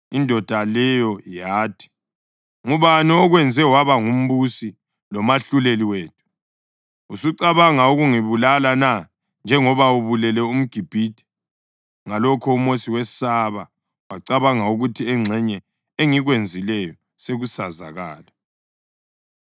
Indoda leyo yathi, “Ngubani okwenze waba ngumbusi lomahluleli wethu? Usucabanga ukungibulala na njengoba ubulele umGibhithe?” Ngalokho uMosi wesaba wacabanga ukuthi, “Engxenye engikwenzileyo sekusazakala.”